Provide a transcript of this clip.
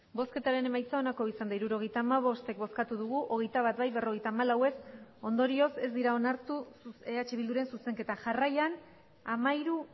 hirurogeita hamabost eman dugu bozka hogeita bat bai berrogeita hamalau ez ondorioz ez dira onartu eh bilduren zuzenketa jarraian hamairu